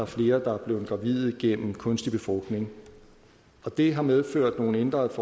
flere der er blevet gravide gennem kunstig befrugtning det har medført nogle ændrede